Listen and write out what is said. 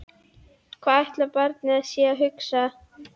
Hvað ætli barnið sé að hugsa?